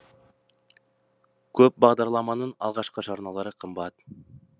көп бағдарламаның алғашқы жарналары қымбат